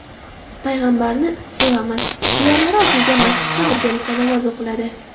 payg‘ambarni sevamiz” shiorlari osilgan masjidda birgalikda namoz o‘qiladi.